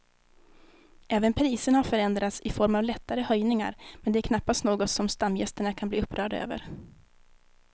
Även priserna har förändrats i form av lättare höjningar men det är knappast något som stamgästerna kan bli upprörda över.